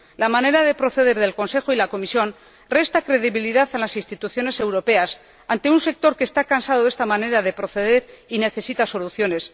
La manera de proceder del Consejo y de la Comisión resta credibilidad a las instituciones europeas ante un sector que está cansado de esta manera de proceder y que necesita soluciones.